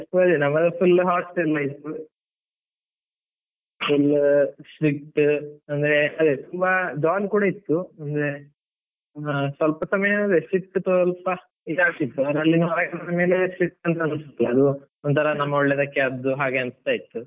ನಮ್ದು full hostel life , full strict ಅಂದ್ರೆ ಅದೇ ತುಂಬಾ jolly ಕೂಡ ಇತ್ತು. ಅಂದ್ರೆ, ಹ ಸ್ವಲ್ಪ ಸಮಯ ಅದೆ strict ಸ್ವಲ್ಪ ಇದಾಗ್ತಿತ್ತು, ಆದ್ಮೇಲೆ ಅದು ಒಂತರ ನಮ್ಮ ಒಳ್ಳೇದಕ್ಕೆ ಆದ್ದು ಹಾಗೆ ಅನಿಸ್ತಾ ಇತ್ತು.